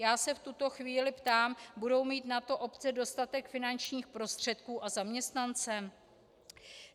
Já se v tuto chvíli ptám - budou mít na to obce dostatek finančních prostředků a zaměstnance?